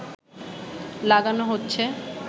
লাগানো হচ্ছে